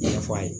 Ɲɛfɔ a ye